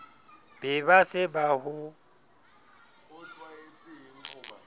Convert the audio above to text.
be ba se ba ho